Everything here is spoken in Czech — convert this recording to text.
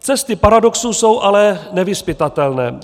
Cesty paradoxů jsou ale nevyzpytatelné.